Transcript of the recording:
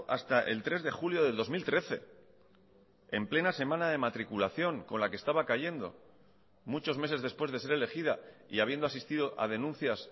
hasta el tres de julio del dos mil trece en plena semana de matriculación con la que estaba cayendo muchos meses después de ser elegida y habiendo asistido a denuncias